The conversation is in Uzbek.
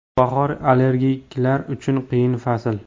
Bahor – allergiklar uchun qiyin fasl.